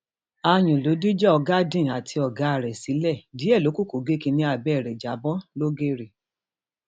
aáyun ló dìjà ọgádìn àti ọgá ẹ sílẹ díẹ ló kù kó gé kínní abẹ ẹ já bọ lọgẹrẹ